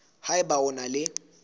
ha eba o na le